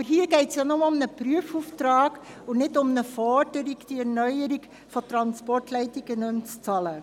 Aber hier geht es ja nur um einen Prüfungsauftrag und nicht um eine Forderung, die Erneuerung der Transportleitungen nicht mehr zu bezahlen.